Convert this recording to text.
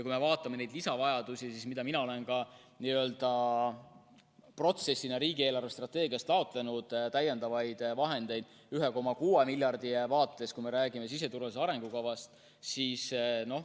Kui me vaatame neid lisavajadusi, siis mina olen n-ö protsessina riigi eelarvestrateegiast taotlenud täiendavaid vahendeid 1,6 miljardit.